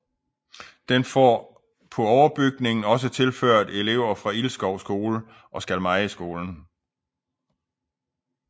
Den får på overbygningen også tilført elever fra Ilskov Skole og Skalmejeskolen